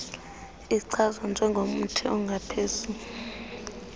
ichazwa njengomthi ongaphezu